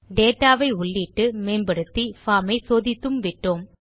data வை உள்ளிட்டு மேம்படுத்தி பார்ம் ஐ சோதித்தும் விட்டோம்